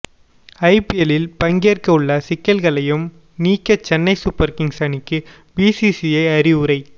ஐபிஎல்லில் பங்கேற்க உள்ள சிக்கல்களையும் நீக்க சென்னை சூப்பர் கிங்ஸ் அணிக்கு பிசிசிஐ அறிவுரை